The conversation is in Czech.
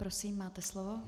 Prosím, máte slovo.